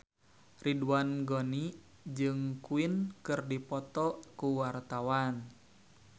Ridwan Ghani jeung Queen keur dipoto ku wartawan